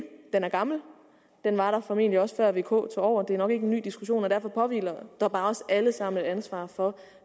den er gammel den var der formentlig også før vk tog over det er nok ikke en ny diskussion og derfor påhviler der bare også alle sammen et ansvar for